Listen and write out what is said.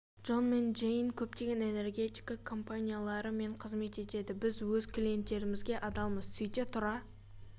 джон мен джейн көптеген энергетика компаниялары мен қызмет етеді біз өз клиенттерімізге адалмыз сөйте тұра